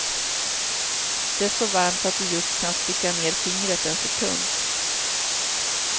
Det är så varmt att du just kan sticka ner fingret en sekund.